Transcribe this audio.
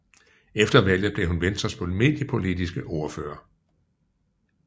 Efter valget blev hun Venstres mediepolitisk ordfører